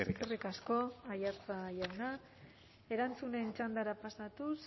eskerrik asko eskerrik asko aiartza jauna erantzunen txandara pasatuz